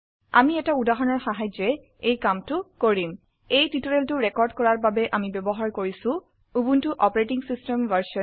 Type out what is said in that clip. আমি এটা উদাহৰণৰ সাহায্যে এই কামটো কৰিম এই টিউটোৰিয়েলটো ৰেকৰ্ড কৰাৰ বাবে আমি ব্যবহাৰ কৰিছো উবুনটো অচ ভ